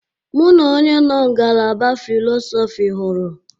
Mụ na onye nọ ngalaba Fịlọsọfi hụru.